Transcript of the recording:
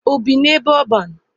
O bi n'ebe ọban?